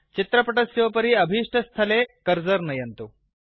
चित्रपटस्योपरि अभिष्टस्थाने कर्सर् नयन्तु